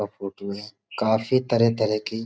और फ़ोटू हैं। काफी तरह-तरह की --